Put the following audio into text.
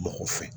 Mako fɛ